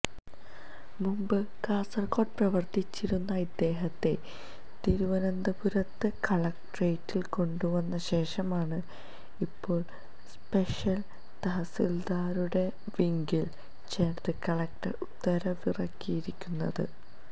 മുമ്പ് കാസര്കോട് പ്രവര്ത്തിച്ചിരുന്ന ഇദ്ദേഹത്തെ തിരുവന്തപപുരത്ത് കളക്ട്രേറ്റില് കൊണ്ടുവന്ന ശേഷമാണ് ഇപ്പോള് സ്പെഷ്യല് തഹസീല്ദാരുടെ വിംഗില് ചേര്ത്ത് കളക്ടര് ഉത്തരവിറക്കിയിരിക്കുന്നത്